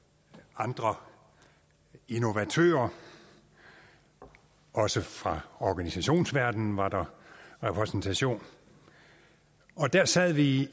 andre innovatører også fra organisationsverdenen var der repræsentation og der sad vi i